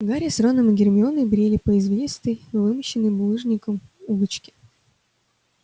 гарри с роном и гермионой брели по извилистой вымощенной булыжником улочке